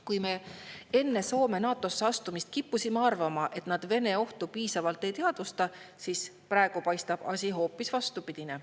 Kui me enne Soome NATO‑sse astumist kippusime arvama, et nad Vene ohtu piisavalt ei teadvusta, siis praegu paistab asi hoopis vastupidine.